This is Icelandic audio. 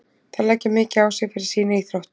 Þær leggja mikið á sig fyrir sína íþrótt.